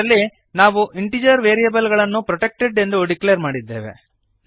ಇದರಲ್ಲಿ ನಾವು integer variable ಗಳನ್ನು ಪ್ರೊಟೆಕ್ಟೆಡ್ ಎಂದು ಡಿಕ್ಲೇರ್ ಮಾಡಿದ್ದೇವೆ